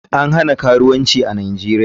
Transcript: Karuwanci ne band a nigeria.